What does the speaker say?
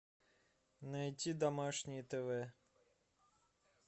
найти домашнее тв